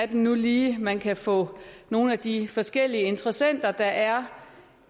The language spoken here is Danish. det nu lige er man kan få nogle af de forskellige interessenter der er